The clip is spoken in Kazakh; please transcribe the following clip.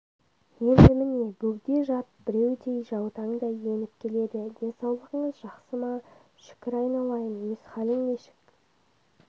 енді міне бөгде жат біреудей жаутаңдай еніп келеді денсаулығыңыз жақсы ма шүкір айналайын өз хәлің нешік